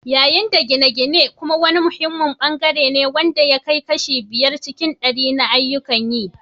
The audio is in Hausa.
Yayin da gine-gine kuma wani muhimmin bangare ne wanda ya kai kashi biyar cikin ɗari na ayyukan yi.